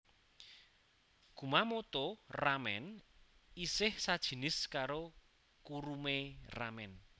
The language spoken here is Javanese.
Kumamoto ramen isih sajinis karo kurume ramen